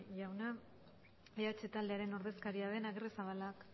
jauna eh bildu taldearen ordezkaria den agirrezabala jaunak